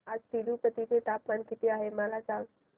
आज तिरूपती चे तापमान किती आहे मला सांगा